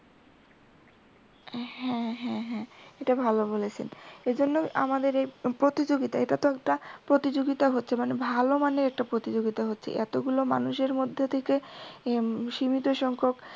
হ্যা হ্যাঁ হ্যাঁ এটা ভালো বলেছেন। এজন্য আমাদের এই প্রতিযোগিতা এটা তো একটা প্রতিযোগিতা হচ্ছে ভালো মানের একটা প্রতিযোগিতা হচ্ছে এতগুলো মানুষের মধ্যে এদিকে সীমিত সংখ্যক